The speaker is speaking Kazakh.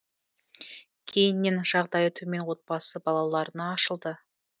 кейіннен жағдайы төмен отбасы балаларына ашылды